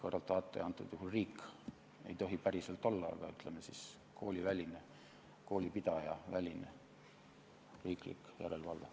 Kõrvaltvaataja on antud juhul riik, kuid kuna see ta ei tohi päriselt olla, siis ütleme, et koolipidajaväline riiklik järelevalve.